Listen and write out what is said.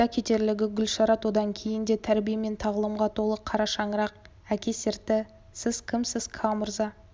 айта кетерлігі гүлшарат одан кейін де тарбие мен тағылымға толы қарашаңырақ әке серті сіз кімсіз ка мырза